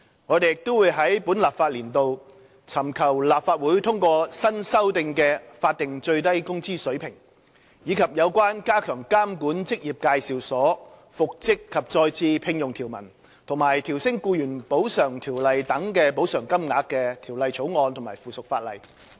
我們亦會在本立法年度尋求立法會通過新修訂的法定最低工資水平，以及有關加強監管職業介紹所、復職及再次聘用條文和調升《僱員補償條例》等的補償金額的法案及附屬法例。